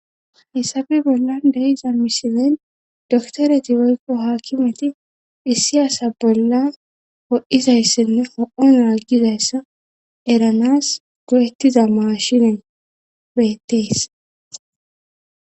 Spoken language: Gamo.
hessabe bolla deiza misilen doktoreti woykko haakkimati hissiyasa bolla wo7izayssenne ho7on raggizayssa eranas go7ettiza mashine bettees